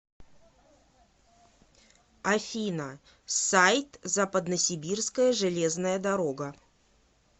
афина сайт западносибирская железная дорога